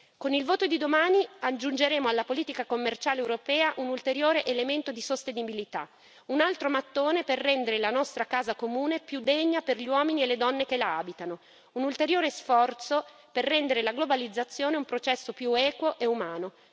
Con il voto di domani aggiungeremo alla politica commerciale europea un ulteriore elemento di sostenibilità, un altro mattone per rendere la nostra casa comune più degna per gli uomini e le donne che la abitano, un ulteriore sforzo per rendere la globalizzazione un processo più equo e umano.